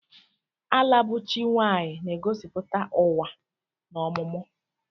Ala bụ chi nwaanyị na-egosipụta ụwa na ọmụmụ.